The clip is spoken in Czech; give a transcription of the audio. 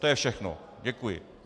To je všechno, děkuji.